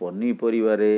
ପନିପରିବାରେ